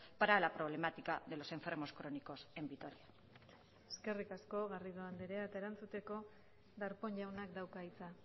para la problemática de los enfermos crónicos en vitoria eskerrik asko garrido andrea eta erantzuteko darpón jaunak dauka hitza